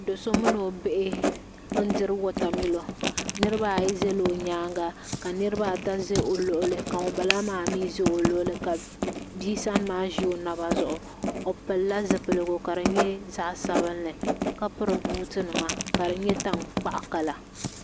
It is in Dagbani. Doso mini o bihi n diri wata milo Niriba ayi zala o nyaanga ka niriba ata ʒɛ o luɣuli ka ŋunbala maa mi ʒɛ o luɣuli ka bia sani maa ʒi o naba zuɣu o pilila zupilgu ka di nyɛ zaɣa sabinli ka piri buutinima ka di nyɛ tankpaɣu kala.